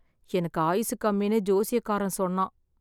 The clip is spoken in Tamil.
எனக்கு ஆயுசு கம்மின்னு ஜோசியக்காரன் சொன்னான்